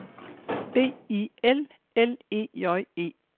B I L L E J E